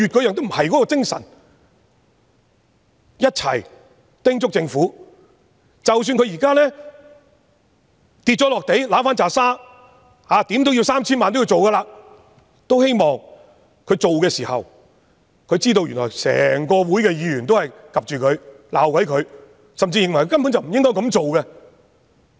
請大家一起叮囑政府，即使政府現在"跌落地揦返拃沙"，花 3,000 萬元也要推行，也希望政府推行的時候，知道受到整個議會的議員監察和批評，甚至認為根本不應該這樣做。